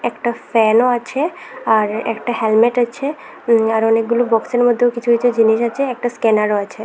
একটা ফ্যানও আছে আর একটা হ্যালমেট আছে উম আর অনেকগুলো বক্সের মধ্যেও কিছু কিছু জিনিস আছে একটা স্ক্যানারও আছে।